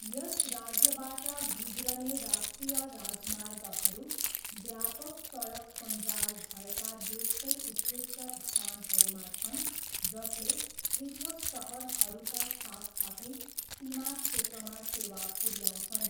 यस राज्यबाट गुज्रने राष्ट्रिय राजमार्गहरू व्यापक सडक सञ्जाल भएका देशकै उत्कृष्ट स्थानहरूमा छन् जसले पृथक सहरहरूका साथसाथै सीमा क्षेत्रमा सेवा पुऱ्याउँछन्।